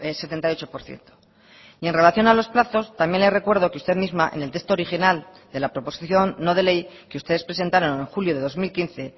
setenta y ocho por ciento y en relación a los plazos también le recuerdo que usted misma en el texto original de la proposición no de ley que ustedes presentaron en julio de dos mil quince